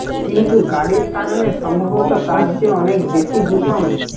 কিন্তু গাড়ির কারণে সম্ভবত তার চেয়ে অনেক বেশি দূষণ